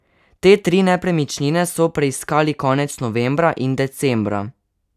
Te tri nepremičnine so preiskali konec novembra in decembra.